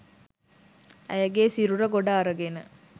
ඇයගේ සිරුර ගොඩ අරගෙන